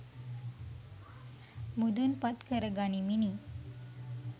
මුදුන්පත් කරගනිමිනි.